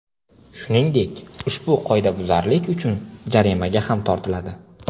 Shuningdek, ushbu qoidabuzarlik uchun jarimaga ham tortiladi.